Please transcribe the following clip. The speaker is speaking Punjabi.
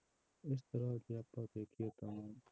ਇਸ ਤਰ੍ਹਾਂ ਜੇ ਆਪਾਂ ਵੇਖੀਏ ਤਾਂ